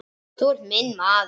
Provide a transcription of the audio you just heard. Þú ert minn maður